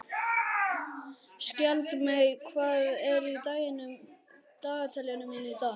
Skjaldmey, hvað er í dagatalinu mínu í dag?